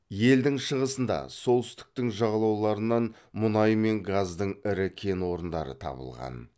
елдің шығысында солтүстік т дің жағалауларынан мұнай мен газдың ірі кен орындары табылған